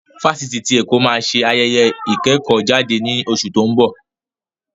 Fáṣítì tí Èkó máa ṣe ayẹyẹ ìkẹ́kọ̀ọ́-jáde ní oṣù tí ó ń bọ̀.